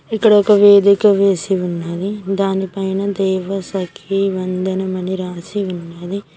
ఇక్కడ ఒక వేదిక వేసి ఉన్నది దానిపైన దైవ సఖీ వందనమని రాసి ఉన్నది.